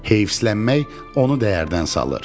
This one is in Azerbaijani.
Heyfslənmək onu dəyərdən salır.